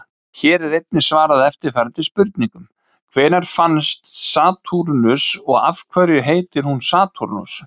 Hér er einnig svarað eftirfarandi spurningum: Hvenær fannst Satúrnus og af hverju heitir hún Satúrnus?